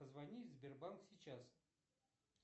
позвони в сбербанк сейчас